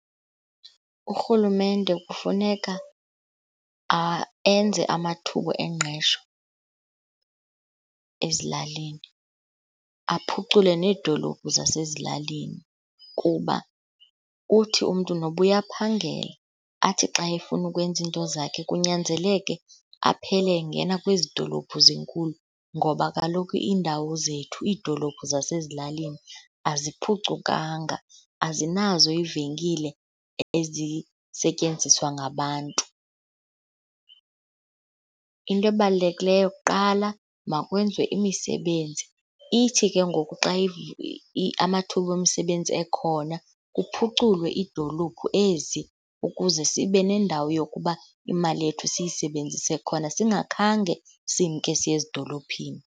Urhulumente kufuneka enze amathuba engqesho ezilalini, aphucule needolophu zasezilalini. Kuba uthi umntu noba uyaphangela athi xa efuna ukwenza iinto zakhe kunyanzeleke aphele engena kwezi dolophu zinkulu ngoba kaloku iindawo zethu, iidolophu zasezilalini aziphucukanga, azinazo iivenkile ezisetyenziswa ngabantu. Into ebalulekileyo kuqala, makwenziwe imisebenzi. Ithi ke ngoku xa amathuba omsebenzi ekhona kuphuculwe iidolophu ezi ukuze sibe nendawo yokuba imali yethu siyisebenzise khona singakhange simke siye ezidolophini.